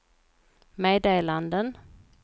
meddelanden